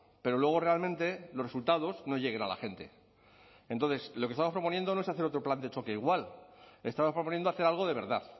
pero luego realmente los resultados no lleguen a la gente entonces lo que estamos proponiendo no es hacer otro plan de choque igual estamos proponiendo hacer algo de verdad